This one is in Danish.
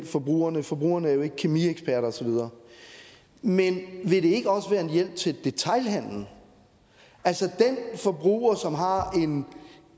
forbrugerne forbrugerne jo ikke er kemieksperter og så videre men vil det ikke også være en hjælp til detailhandlen altså den forbruger som har